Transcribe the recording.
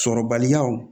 Sɔrɔbaliyaw